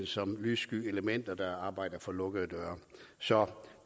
som lyssky elementer der arbejder bag lukkede døre så